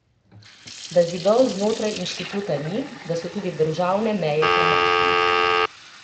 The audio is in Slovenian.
Da zidov znotraj inštituta ni, da so tudi državne meja premajhne.